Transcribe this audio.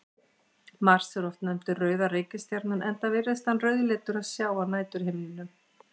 Mars er oft nefndur rauða reikistjarnan enda virðist hann rauðleitur að sjá á næturhimninum.